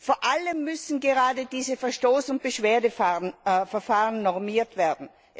Vor allem müssen gerade diese Verstoß und Beschwerdeverfahren normiert werden.